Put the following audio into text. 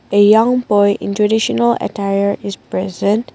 a young boy in traditional attire is present.